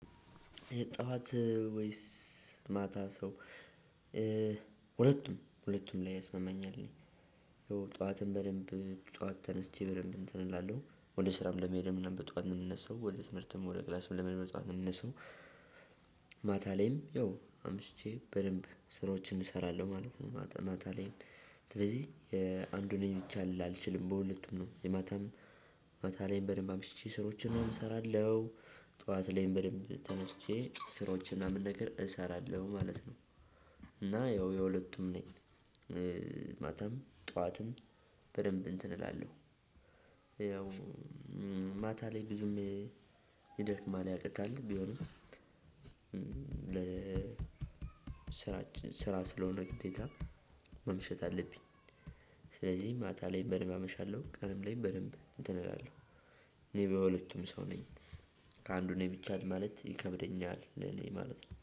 ጠዋት ወይስ ማታ ሰው ሁለቱም ሁለቱም ላይ ያስመመኛል። እኔ ጠዋትን በደንብ ጠዋት ተነስቼ በደንብ እንትን እላለሁ ወደ ስራም ለመሄድ ምናምን በጠዋት እምነሳው ወደ ትምህርትም ወደ ክላስም ለመሄድ በጠዋት ነው ምነሳው። ማታ ላይም ያው አምሽቼ በደንብ ስራዎችን እሰራለሁ ማለት ነው። ማታ ላይም ስለዚህ የአንዱ ነኝ ብቻ ልል አልችልም በሁለቱም ነው። የማታም ማታ ላይም በደንብ አምሽቼ ስራዎችን እሰራለሁ። ጠዋት ላይም በደንብ ተነስቼ ስራዎች ምናምን ነገር እሰራለሁ ማለት ነው። እና ያው የሁለቱም ነኝ። ማታም ጠዋትም በደንብ እንትን እላለሁ። ያው ማታ ላይ ብዙም ይደክማል ያቅታል ቢሆንም። ስራ ስራ ስለሆነ ግዴታ መምሸት አለብኝ። ስለዚህም ማታ ላይ በደንብ አመሻለሁ ቀንም ላይ በደንብ እንትን እላለሁ። እኔ በሁለቱም ሰው ነኝ። ከአንዱ ነኝ ብቻ ለማለት ይከብደኛል እኔ ማለት ነው